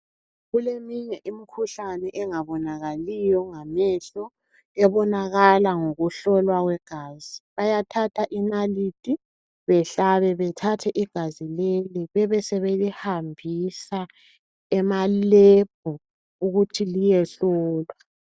Kulminye imikhuhlane engabonakaliyo ngamehlo. Obonakala ngokuhlolwa kwegazi. Bayathatha inalithi behlabe, bethatha igazi leli bebesebelihambisa emalebhu ukuthi liyehlolwa.